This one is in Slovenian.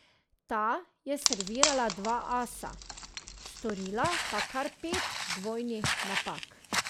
Ta je servirala dva asa, storila pa kar pet dvojnih napak.